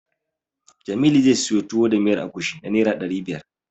Jamilu zai siyo Tuwo da miyar agushi na Naira ɗari biyar.